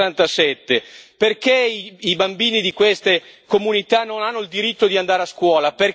167? Perché i bambini di queste comunità non hanno il diritto di andare a scuola?